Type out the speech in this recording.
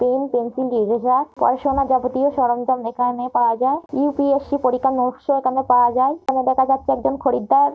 Pen pencil eraser পড়াশুনা যাবতীয় সরঞ্জাম এখানে পাওয়া যায়। ইউ.পি.এস.সি. পরীক্ষার নোটস - ও এখানে পাওয়া যায়। এখানে দেখা যাচ্ছে একজন খরিদ্দার --